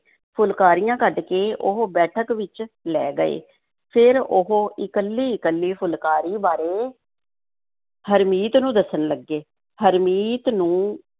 ਫੁਲਕਾਰੀਆਂ ਕੱਢ ਕੇ ਉਹ ਬੈਠਕ ਵਿੱਚ ਲੈ ਗਏ, ਫਿਰ ਉਹ ਇਕੱਲੀ-ਇਕੱਲੀ ਫੁਲਕਾਰੀ ਬਾਰੇ ਹਰਮੀਤ ਨੂੰ ਦੱਸਣ ਲੱਗੇ, ਹਰਮੀਤ ਨੂੰ